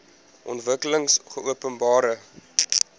ontwikkelingopenbare